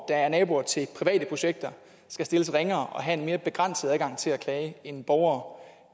er naboer til private projekter skal stilles ringere og have en mere begrænset adgang til at klage end borgere